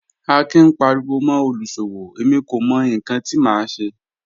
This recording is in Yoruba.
Akin ń paríwọ́ mọ́ olúṣọ́wọ́, ẹ̀mí kò mọ̀ níkan tí mà ṣé